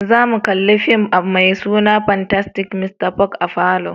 Zamu kalla fim mai suna "Fantastic Mr. Fox "a'falo.